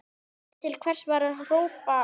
En til hvers var að hrópa eða hamast?